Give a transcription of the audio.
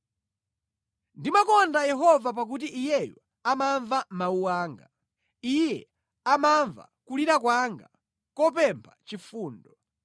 Ndimakonda Yehova pakuti Iyeyo amamva mawu anga; Iye amamva kulira kwanga kopempha chifundo.